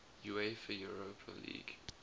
uefa europa league